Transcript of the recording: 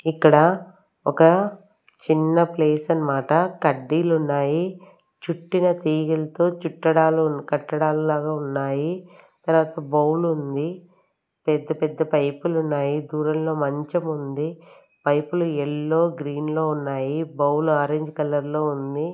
ఇక్కడ ఒక చిన్న ప్లేస్ అన్నమాట కడ్డీలు ఉన్నాయి చుట్టిన తీగలతో చుట్టడాలు కట్టడాలు లాగా ఉన్నాయి తర్వాత బౌల్ ఉంది పెద్ద పెద్ద పైపులు ఉన్నాయి దూరంలో మంచం ఉంది పైపులు ఎల్లో గ్రీన్ లో ఉన్నాయి బౌల్ ఆరెంజ్ కలర్ లో ఉంది.